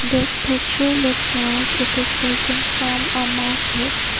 this picture looks like it is taken from a market.